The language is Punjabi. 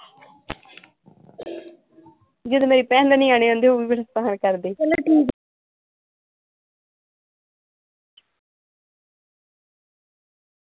ਜਦੋ ਮੇਰੀ ਭੈਣ ਦੇ ਨਿਆਣੇ ਆਉਂਦੇ ਉਹ ਮੈਨੂੰ ਕਰਦੇ ਚਲੋ ਠੀਕ।